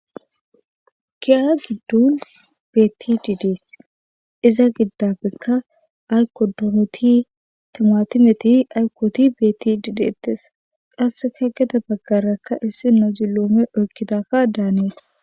giya giddon beetti dids iza giddabekka aykodooti timuatimeti aykooti beetti diideettes qasse ka geda baggarakka issi no ziloome oykkidakka daanees